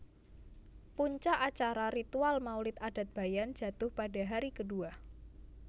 Puncak Acara Ritual Maulid Adat Bayan Jatuh Pada Hari Kedua